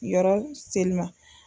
Yɔrɔ seli ma.